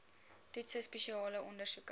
toetse spesiale ondersoeke